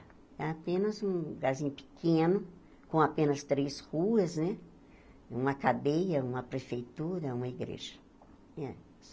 Era apenas um lugarzinho pequeno, com apenas três ruas né, uma cadeia, uma prefeitura, uma igreja.